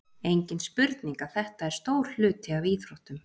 Engin spurning að þetta er stór hluti af íþróttum.